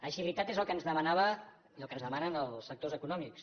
agilitat és el que ens demanaven i el que ens demanen els sectors econòmics